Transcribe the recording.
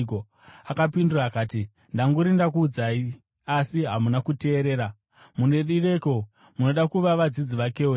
Akapindura akati, “Ndanguri ndakuudzai, asi hamuna kuteerera. Munodireiko kuzvinzwazve? Munoda kuva vadzidzi vakewo here?”